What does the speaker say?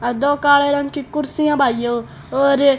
अ दो काले रंग की कुर्सी भाइयों और--